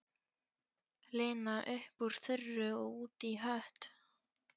Lena upp úr þurru og út í hött.